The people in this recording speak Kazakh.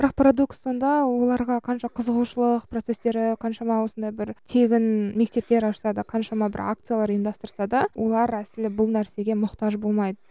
бірақ парадокс сонда оларға қанша қызығушылық процестері қаншама осындай бір тегін мектептер ашса да қаншама бір акциялар ұйымдастырса да олар әсілі бұл нәрсеге мұқтаж болмайды